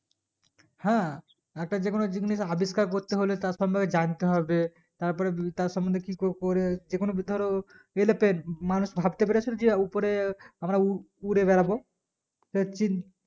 হ্যাঁ একটা যে কোনো জিনিস আবিষ্কার করতে হলে তার সম্বন্ধে জানতে হবে তারপর তার সম্বন্ধে কিক করে যে কোনো airplane মানুষ ভাবতে পারছিলো যে উপরে আমরা উউড়ে বাড়াবো সে তিন